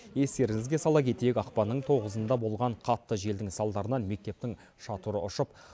естеріңізге сала кетейік ақпанның тоғызында болған қатты желдің салдарынан мектептің шатыры ұшып